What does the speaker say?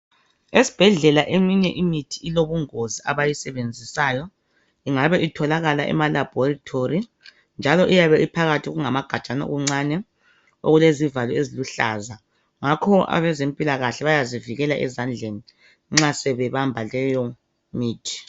Esibhedlela eminye imithi ilobungozi abayisebenzisayo ingabe itholakala emalabhorithori njalo iyabe iphakathi okungamagajana okuncane okulezivalo eziluhlaza. Ngakho abezempikahle bayazivikela ezandleni nxa sebebamba leyo mithi.